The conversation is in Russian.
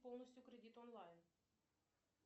полностью кредит онлайн